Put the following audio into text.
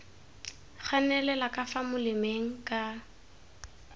ganelela ka fa molemeng ka